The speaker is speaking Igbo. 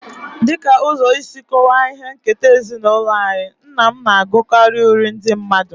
As a way of explaining our family heritage, my father I used to reciting folk poems.